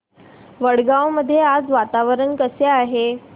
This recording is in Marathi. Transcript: वडगाव मध्ये आज वातावरण कसे आहे